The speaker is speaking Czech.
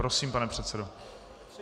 Prosím, pane předsedo.